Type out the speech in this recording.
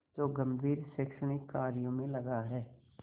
जो गंभीर शैक्षणिक कार्यों में लगा है